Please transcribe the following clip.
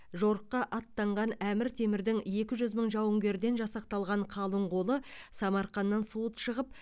жорыққа аттанған әмір темірдің екі жүз мың жауынгерден жасақталған қалың қолы самарқаннан суыт шығып